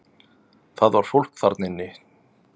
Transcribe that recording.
Það var fólk þarna inni!